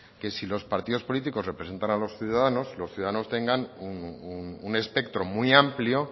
que si los partidos políticos representan a los ciudadanos los ciudadanos tengan un espectro muy amplio